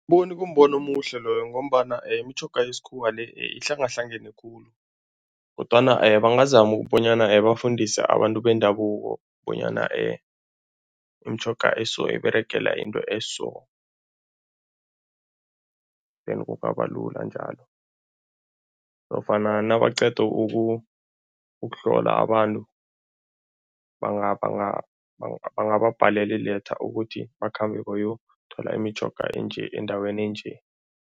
Bona kumbono omuhle loyo ngombana imitjhoga yesikhuwa le, ihlangahlangane khulu kodwana bangazama bonyana bafundise abantu bendabuko bonyana imitjhoga eso iberegela into eso, then kungaba lula njalo nofana nabaqeda ukuhlola abantu bangababhalela i-letter ukuthi bakhambe bayokuthola imitjhoga enje, endaweni enje.